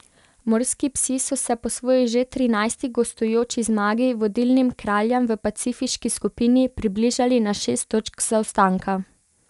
Morski psi so se po svoji že trinajsti gostujoči zmagi vodilnim Kraljem v pacifiški skupini približali na šest točk zaostanka.